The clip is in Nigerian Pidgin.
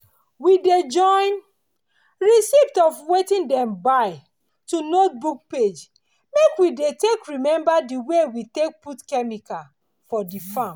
we dey join receipt of wetin dem buy to notebook page make we take dey remember di way we take put chemical for di farm.